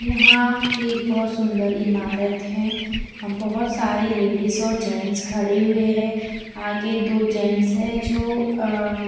यहाँ एक बहुत सुंदर ईमारत है बहुत सारे लेडिस और जेन्ट्स खड़े हुए है आगे दो जेन्ट्स है जो आ आ--